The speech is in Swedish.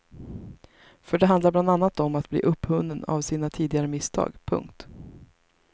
För det handlar bland annat om att bli upphunnen av sina tidigare misstag. punkt